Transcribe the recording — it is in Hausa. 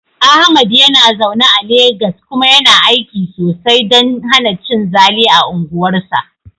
Ahmad yana zaune a Legas kuma yana aiki sosai don hana cin zali a unguwarsa.